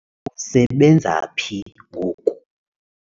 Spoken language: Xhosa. usebenza phi ngoku?